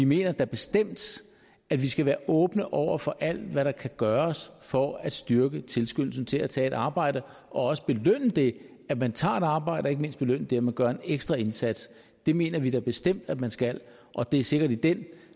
mener da bestemt at vi skal være åbne over for alt hvad der kan gøres for at styrke tilskyndelsen til at tage et arbejde og også belønne det at man tager et arbejde og ikke mindst belønne det at man gør en ekstra indsats det mener vi da bestemt at man skal og det er sikkert i den